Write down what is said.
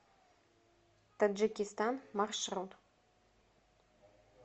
таджикистан маршрут